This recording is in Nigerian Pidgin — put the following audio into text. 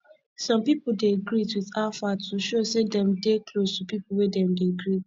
some pipo dey greet with how far to show sey dem dey close to pipo wey dem dey greet